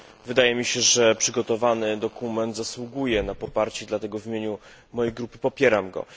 Wydaje mi się, że przygotowany dokument zasługuje na poparcie, dlatego, w imieniu mojej grupy, popieram go.